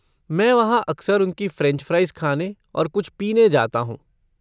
मैं वहाँ अक्सर उनकी फ़्रेंच फ़्राइज़ खाने और कुछ पीने जाता हूँ।